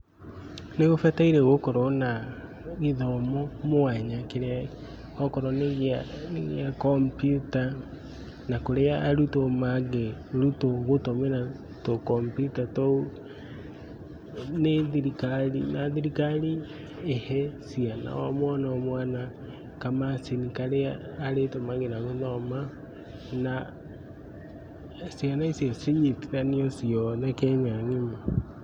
Nĩ gũbataire gũkorwo na gĩthomo mwanya, kĩrĩa okorwo nĩ gĩa kombiuta na kũrĩa arutwo mangĩrutwo gũtũmĩra tũ kombiuta tũu nĩ thirikari. Na thirikari ihe ciana o mwana o mwana kamacini karĩa arĩtũmagĩra gũthoma, na ciana icio cinyitithanio ciothe Kenya ng'ima.